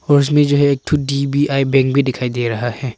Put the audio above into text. उसमें जो है एक ठो आईडीबीआई बैंक भी दिखाई दे रहा है।